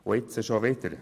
Und nun schon wieder?